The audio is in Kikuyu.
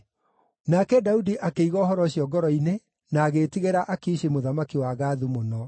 Nake Daudi akĩiga ũhoro ũcio ngoro-inĩ na agĩĩtigĩra Akishi mũthamaki wa Gathu mũno.